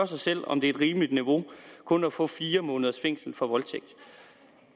sig selv om det er et rimeligt niveau kun at få fire måneders fængsel for voldtægt